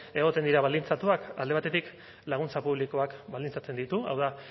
egoten dira baldintzatuak alde batetik laguntza publikoak baldintzatzen ditu hau da